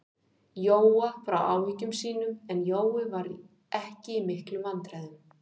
Jóa frá áhyggjum sínum, en Jói var ekki í miklum vandræðum.